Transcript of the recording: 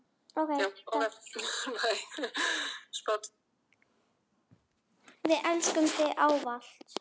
Við elskum þig ávallt.